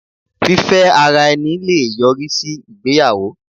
Fífẹ́ ara ẹni le yọrí sí ìgbéyàwó.